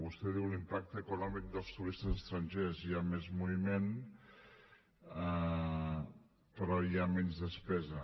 vostè diu l’impacte econòmic dels turistes estrangers hi ha més moviment però hi ha menys despesa